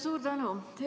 Suur tänu!